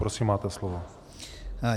Prosím, máte slovo.